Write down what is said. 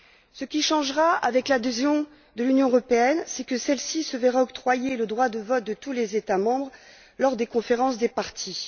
Ce qui changera avec l'adhésion de l'Union européenne, c'est que celle ci se verra octroyer le droit de vote de tous les États membres lors des conférences des parties.